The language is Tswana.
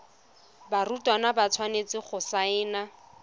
barutwana ba tshwanetse go saena